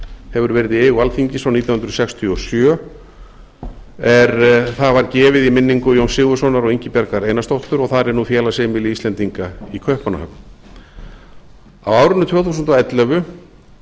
hefur verið í eigu alþingis frá nítján hundruð sextíu og sjö er það var gefið í minningu jóns sigurðssonar og ingibjargar einarsdóttur og þar er nú félagsheimili íslendinga í kaupmannahöfn á árinu tvö þúsund og ellefu